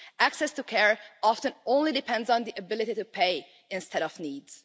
Access to care often only depends on the ability to pay, instead of needs.